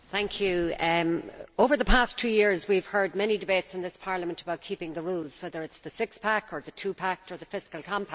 Mr President, over the past two years we have heard many debates in this Parliament about keeping the rules, whether it is the six pack or the two pack or the fiscal compact.